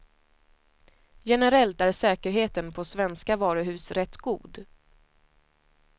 Generellt är säkerheten på svenska varuhus rätt god.